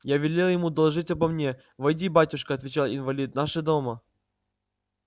я велел ему доложить обо мне войди батюшка отвечал инвалид наши дома